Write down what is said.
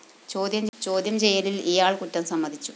ചോദ്യം ചെയ്യലില്‍ ഇയാള്‍ കുറ്റം സമ്മതിച്ചു